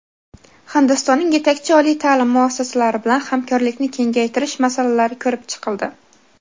Hindistonning yetakchi oliy taʼlim muassasalari bilan hamkorlikni kengaytirish masalalari ko‘rib chiqildi.